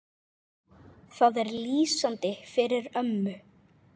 Það er lýsandi fyrir ömmu.